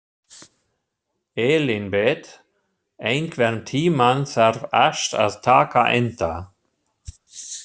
Elínbet, einhvern tímann þarf allt að taka enda.